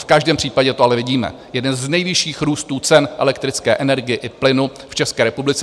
V každém případě to ale vidíme: jeden z nejvyšších růstů cen elektrické energie i plynu v České republice.